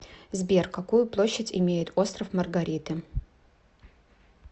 сбер какую площадь имеет остров маргариты